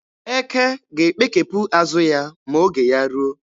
Eke ga-ekpekepụ azụ ya ma oge ya ruo.